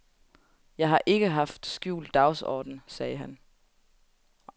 Jeg ikke haft nogen skjult dagsorden, sagde han.